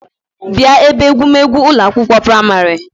Bia ebe egwu megwu Ụlọ akwụkwọ praịmarị